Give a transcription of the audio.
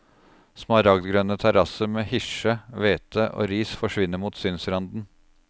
Smaragdgrønne terrasser med hirse, hvete og ris forsvinner mot synsranden.